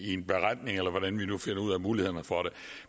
en beretning eller hvordan vi nu finder ud af mulighederne for det